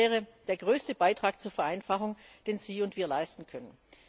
Das wäre der größte Beitrag zur Vereinfachung, den Sie und wir leisten können.